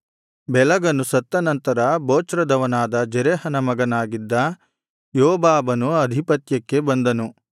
ಬೆಲಗನು ಸತ್ತ ನಂತರ ಬೊಚ್ರದವನಾದ ಜೆರಹನ ಮಗನಾಗಿದ್ದ ಯೋಬಾಬನು ಅಧಿಪತ್ಯಕ್ಕೆ ಬಂದನು